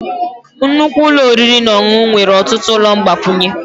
Nnukwu ụlọ oriri na ọṅụṅụ nwere ọtụtụ ụlọ mgbakwunye.